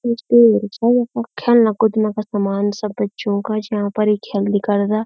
ख्येलना कुदना का समान सब बच्चों का जहा पर ये ख्येल्ली करदा।